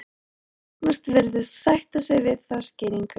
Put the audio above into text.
Agnes virðist sætta sig við þá skýringu.